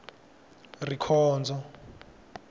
rikhondzo